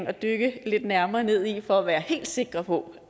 at dykke lidt nærmere ned i i udvalgsbehandlingen for at være helt sikre på